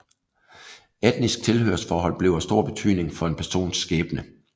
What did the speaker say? Etnisk tilhørsforhold blev af stor betydning for en persons skæbne